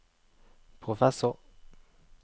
professor